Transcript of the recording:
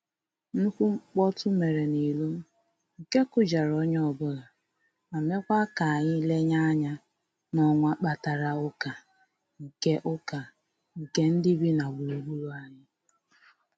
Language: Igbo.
Nnukwu mkpọtụ mere n'iro nke kụjara onye ọbụla, ma mekwa k'anyị lenye anya n'ọwa mkparịta ụka nke ụka nke ndị bi na gburugburu anyị